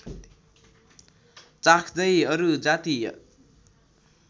चाख्दै अरू जातीय